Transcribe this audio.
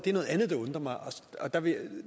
er noget andet der undrer mig